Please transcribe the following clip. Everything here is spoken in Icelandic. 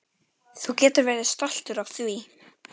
Þú getur verið stoltur af því.